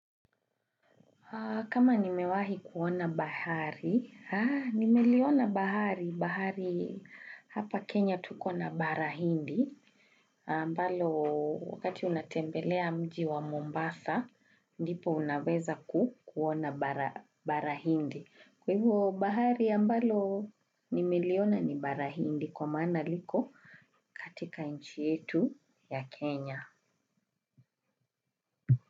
Kama nimewahi kuona bahari haa nimeliona bahari, bahari hapa Kenya tuko na bara hindi. Ambalo wakati unatembelea mji wa Mombasa, ndipo unaweza ku kuona bara bara hindi. Kwa hivo bahari ambalo nimeliona ni bara hindi kwa maana liko katika nchi yetu ya Kenya.